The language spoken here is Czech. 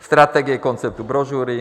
Strategie konceptu brožury.